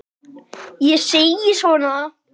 Ég segi svona.